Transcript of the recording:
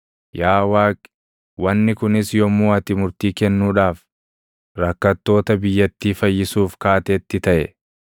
yaa Waaqi, wanni kunis yommuu ati murtii kennuudhaaf, rakkattoota biyyattii fayyisuuf kaatetti taʼe.